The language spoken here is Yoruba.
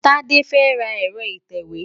Tade fẹ́ ra ẹ̀rọ ìtẹ̀wé.